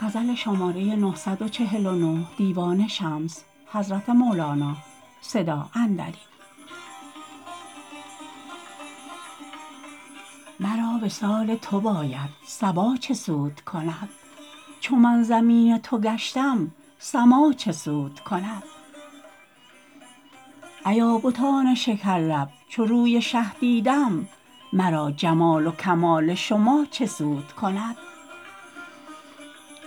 مرا وصال تو باید صبا چه سود کند چو من زمین تو گشتم سما چه سود کند ایا بتان شکرلب چو روی شه دیدم مرا جمال و کمال شما چه سود کند